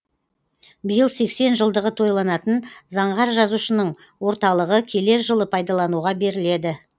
биыл сексен жылдығы тойланатын заңғар жазушының орталығы келер жылы пайдалануға беріледі